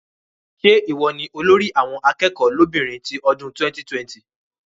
Ṣé ìwọ ni olórí àwọn akẹ́kọ̀ọ́ lóbìnrin ti ọdún 2020?